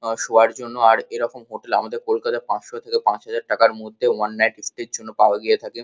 আ শোয়ার জন্য আর এরকম হোটেল আমাদের কলকাতায় পাঁচশো থেকে পাঁচ হাজার টাকার মধ্যে ওয়ান নাইট স্টে -এর জন্য পাওয়া গিয়ে থাকে।